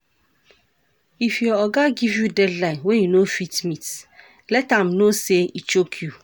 If your oga give you deadline wey you no fit meet, let am know sey e choke you